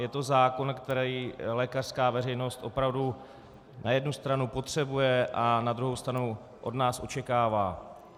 Je to zákon, který lékařská veřejnost opravdu na jednu stranu potřebuje a na druhou stranu od nás očekává.